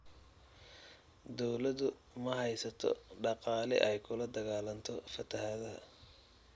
Dawladdu ma haysato dhaqaale ay kula dagaalanto fatahaadaha.